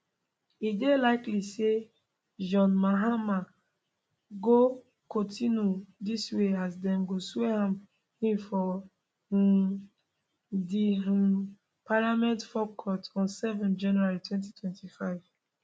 e dey likely say john mahama go kontinu dis way as dem go swear am in for um di um parliament forecourt on 7 january 2025